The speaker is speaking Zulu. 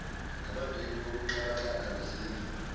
nabadwebi bokuxhakaxhaka bezindlu